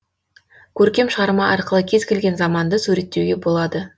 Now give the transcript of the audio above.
көркем шығарма арқылы кез келген заманды суреттеуге болады